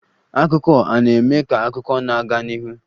Akụkọ a na-eme ka akụkọ na-aga n'ihu.